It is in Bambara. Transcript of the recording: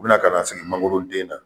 U bina ka na sigi mangolo den na